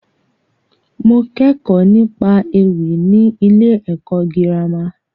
Mo kẹ́kọ̀ọ́ nípa ewì ní ilé ẹ̀kọ́ girama.